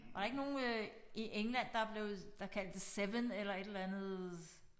Var der ikke nogen øh i England der blev der kaldt det 7 eller et eller andet